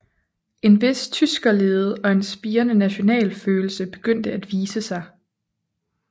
En vis tyskerlede og en spirende nationalfølelse begyndte at vise sig